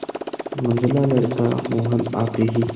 मंझला लड़का मोहन आते ही